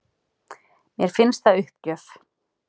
Mér finnst það uppgjöf